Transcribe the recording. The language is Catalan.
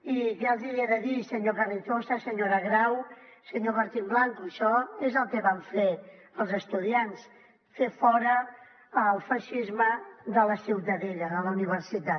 i què els hi he de dir senyor carrizosa senyora grau senyor martín blanco això és el que van fer els estudiants fer fora el feixisme de la ciutadella de la universitat